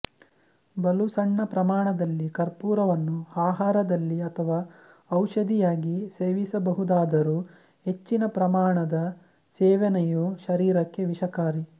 ಬಲು ಸಣ್ಣ ಪ್ರಮಾಣದಲ್ಲಿ ಕರ್ಪೂರವನ್ನು ಅಹಾರದಲ್ಲಿ ಅಥವಾ ಔಷಧಿಯಾಗಿ ಸೇವಿಸಬಹುದಾದರೂ ಹೆಚ್ಚಿನ ಪ್ರಮಾಣದ ಸೇವನೆಯು ಶರೀರಕ್ಕೆ ವಿಷಕಾರಿ